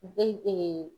Be